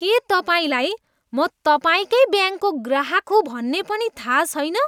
के तपाईँलाई म तपाईँकै ब्याङ्कको ग्राहक हुँ भन्ने पनि थाहा छैन?